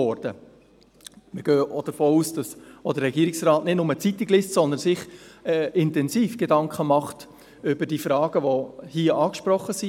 Wir gehen auch davon aus, dass der Regierungsrat nicht nur Zeitung liest, sondern sich intensiv Gedanken macht über die Fragen, die hier angesprochen werden.